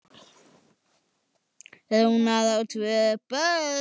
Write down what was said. Rúnar, á hann tvö börn.